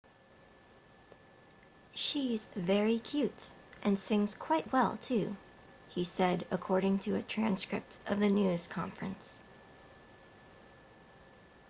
she's very cute and sings quite well too he said according to a transcript of the news conference